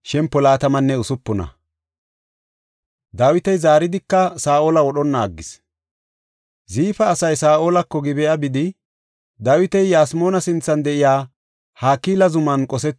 Ziifa asay Saa7olako Gib7a bidi, “Dawiti Yasmoona sinthan de7iya Hakila zuman qosetis?” yaagidosona.